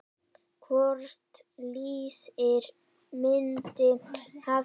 Hvort liðið myndi hafa betur?